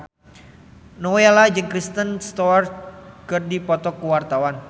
Nowela jeung Kristen Stewart keur dipoto ku wartawan